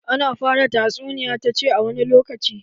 Ana fara tatsuniya ta cewa 'A wani lokaci'